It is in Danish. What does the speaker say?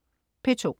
P2: